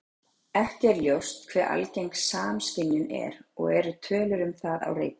Ekki er ljóst hve algeng samskynjun er og eru tölur um það á reiki.